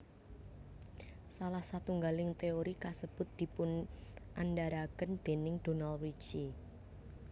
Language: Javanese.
Salah satunggaling teori kasebut dipunandharaken déning Donald Richie